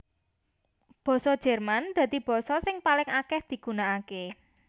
Basa Jerman dadi basa sing paling akèh digunakaké